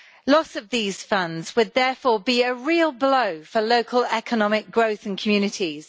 Loss of these funds would therefore be a real blow for local economic growth in communities.